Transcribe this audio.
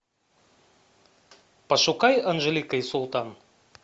пошукай анжелика и султан